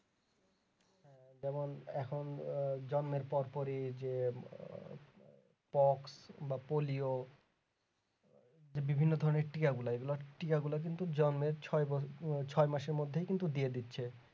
যেমন এখন আহ জন্মের পর পরই যে pox বা polio বিভিন্ন ধরণের টিকা গুলা এইগুলা টিকা গুলা কিন্তু জন্মের ছয় বো ছয় মাসের মধ্যেই কিন্তু দিয়ে দিচ্ছে